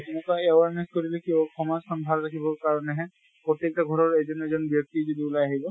তেনেকুৱা awareness কৰিলে কি হʼব, সমাজ খন ভাল থাকিব কাৰণেহে । প্ৰতিটো ঘৰ ৰ এজন এজন ব্য়ক্তি যদি উলাই আহিব